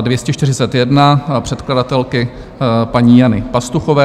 241 předkladatelky paní Jana Pastuchové.